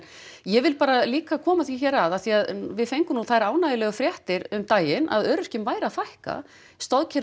ég vil bara líka koma því hér að af því að við fengum nú þær ánægjulegu fréttir um daginn að öryrkjum væri að fækka